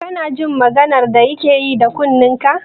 Kana jin maganar da yake yi da kunnenka?